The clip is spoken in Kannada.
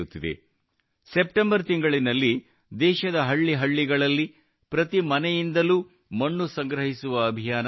ಸೆಪ್ಟೆಂಬರ್ ತಿಂಗಳಿನಲ್ಲಿ ದೇಶದ ಹಳ್ಳಿ ಹಳ್ಳಿಗಳಲ್ಲಿ ಪ್ರತಿ ಮನೆಯಿಂದಲೂ ಮಣ್ಣು ಸಂಗ್ರಹಿಸುವ ಅಭಿಯಾನ ನಡೆಯಲಿದೆ